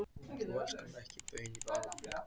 Þú elskar mig ekki baun í bala!